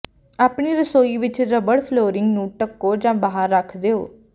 ਆਪਣੀ ਰਸੋਈ ਵਿਚ ਰਬੜ ਫਲੋਰਿੰਗ ਨੂੰ ਢੱਕੋ ਜਾਂ ਬਾਹਰ ਰੱਖ ਦਿਓ